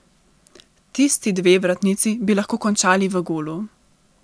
Tisti dve vratnici bi lahko končali v golu.